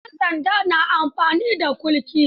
Yan sanda na amfani da kulki.